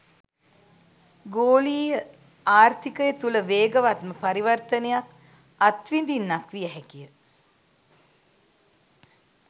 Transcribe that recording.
ගෝලීය ආර්ථිකය තුළ වේගවත්ම පරිවර්තනයක් අත්විඳින්නක් විය හැකිය.